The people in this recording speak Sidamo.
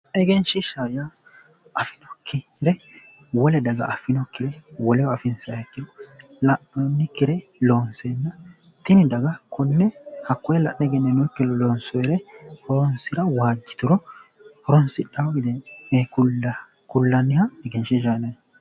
Egenshiishshaho yaa ayeeno ikke wole daga affinokkire woleho afinsayha ikkiro la'noonnikkire loonseenna tini daga konne hakkoye la'ne egenninoonnikkire loonsoyha loonsiro waajjituro horonsidhao yine kullayha egenshiishshaho yinanni